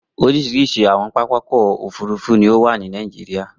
Oríṣiríṣi àwọn pápá ọkọ̀-òfurufú ní ó wà ní Nàìjíríà.